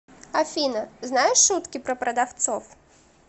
афина знаешь шутки про продавцов